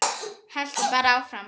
Haltu bara áfram.